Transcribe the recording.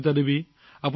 Sunita Devi